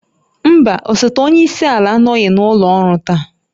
Mba, osote onye isi ala anọghị n'ụlọ ọrụ taa